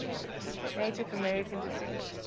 native american descent